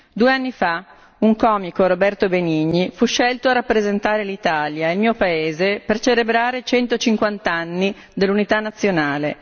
Due anni fa, un comico, Roberto Benigni fu scelto a rappresentare l'Italia, il mio paese, per celebrare i 150 anni dell'unità nazionale.